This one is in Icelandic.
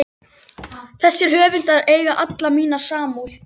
Þessir höfundar eiga alla mína samúð.